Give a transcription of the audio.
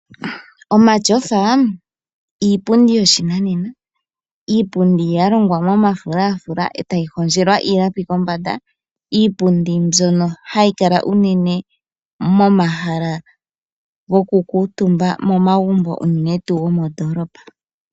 Omatyofa iipundi yoshinanena. Iipundi ya longwa momafulafula etayi hondjelwa iilapi kombanda. Iipundi mbyono hayi kala unene momahala goku kuutumba momagumbo uunene tuu gomoondolopa.